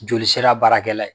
Joli sira baarakɛla ye